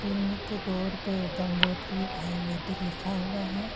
Clinic के door पे गंगोत्री आयुर्वेदिक लिखा हुआ है।